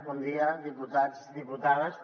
bon dia diputats diputades